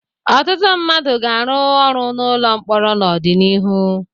Ọtụtụ mmadụ ga-arụ ọrụ n'ụlọ mkpọrọ n'ụlọ mkpọrọ n'ọdịnihu.